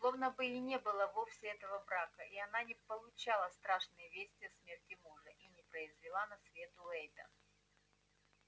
словно бы и не было вовсе этого брака и она не получала страшной вести о смерти мужа и не произвела на свет уэйда